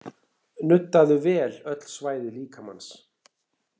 Nuddaðu vel öll svæði líkamans